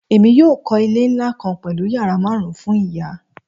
Emi yoo kọ ile nla kan pẹlu yara marun fun iya